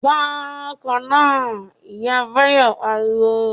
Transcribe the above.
"Gba ọkọ́ náà!", Ìyá Báyọ̀ pariwo